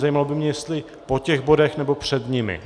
Zajímalo by mě, jestli po těch bodech, nebo před nimi.